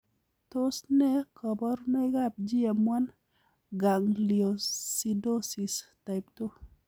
Tos nee koborunoikab GM1 gangliosidosis type 2?